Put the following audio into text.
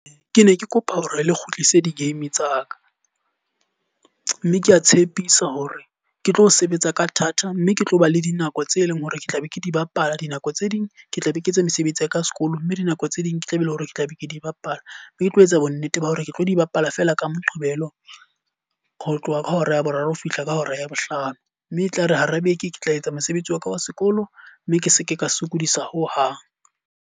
Ke ne ke kopa hore le kgutlise di-game tsa ka. Mme ke a tshepisa hore ke tlo sebetsa ka thata mme ke tlo ba le dinako tse leng hore ke tla be ke di bapala. Dinako tse ding ke tla be ke etse mesebetsi ya ka sekolo, mme dinako tse ding ke tla e be leng hore ke tla be ke di bapala. Be ke tlo etsa bo nnete ba hore ke tlo di bapala fela ka Moqebelo ho tloha ka hora ya boraro ho fihla ka hora ya bohlano. Mme e tlare hara beke ke tla etsa mosebetsi waka wa sekolo. Mme ke seke ka sokodisa ho hang.